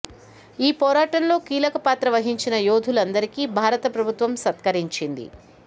ఈ పోరాటంలో కీలక పాత్ర వహించిన యోధులందరికీ భారత ప్రభు త్వం సత్కరించింది